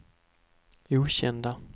okända